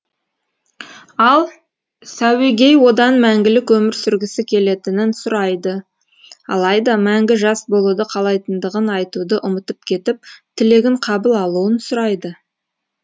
ал сәуегей одан мәңгілік өмір сүргісі келетінін сұрайды алайда мәңгі жас болуды қалайтындығын айтуды ұмытып кетіп тілегін қабыл алуын сұрайды